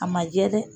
A ma jɛ dɛ